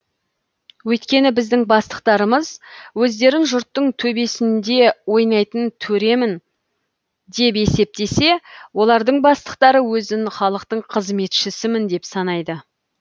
өйткені біздің бастықтарымыз өздерін жұрттың төбесінде ойнайтын төремін деп есептесе олардың бастықтары өзін халықтың қызметшісімін деп санайды